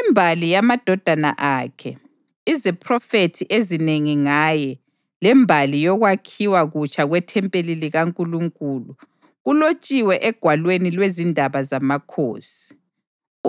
Imbali yamadodana akhe, iziphrofethi ezinengi ngaye, lembali yokwakhiwa kutsha kwethempeli likaNkulunkulu kulotshiwe egwalweni lwezindaba zamakhosi.